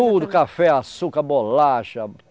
Tudo, café, açúcar, bolacha.